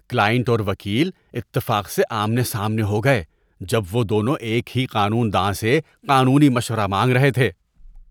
Client اور وکیل اتفاق سے آمنے سامنے ہو گئے جب وہ دونوں ایک ہی قانون داں سے قانونی مشورہ مانگ رہے تھے۔